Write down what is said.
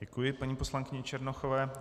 Děkuji paní poslankyni Černochové.